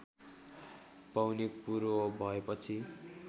पाउने कुरो भएपछि